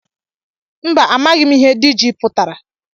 Mba, amaghị m ihe diji pụtara